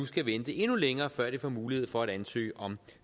skal vente endnu længere før de får mulighed for at ansøge om